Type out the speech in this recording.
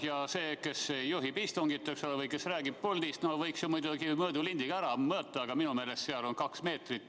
Ja see, kes juhib istungit või kes räägib puldist – no võiks ju mõõdulindiga ära mõõta, aga minu meelest seal on kaks meetrit.